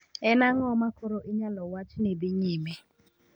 En ang'o ma koro inyalo wach ni dhi nyime?